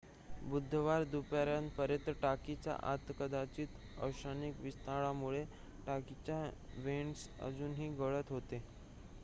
बुधवार दुपारपर्यंत टाकीच्या आत कदाचित औष्णिक विस्तारामुळे टाकीचे व्हेंट्स अजूनही गळत होते